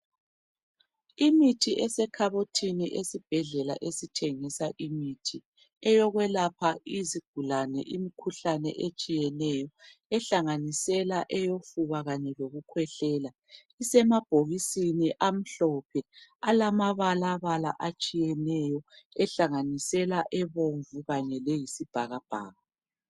Imithi esekhabothini esibhedlela esithengisa imithi eyokwelapha izigulane imikhuhlane etshiyeneyo ehlanganisela eyofuba kanye lokukhwehlela isemabhokisini amhlophe alama balabala atshiyeneyo ehlanganisela ebomvu kanye layisibhakabhaka.